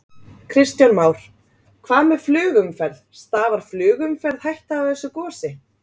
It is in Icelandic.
Kristján Már: Hvað með flugumferð, stafar flugumferð hætta af þessu gosi?